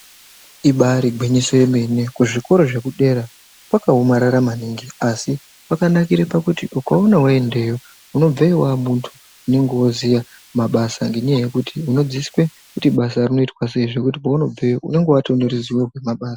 Ibari gwinyiso remene zvikora zvekudetsera zvakaomarara maningi asi wakanakira pakuti ukaona waendeyo umobveyo wamuntu unenge wakuziva mabasa ngekuti unodzidziswa kuti basa nekuti kwaunobveyo unenge watonyorerwa nemabasa.